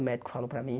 O médico falou para mim.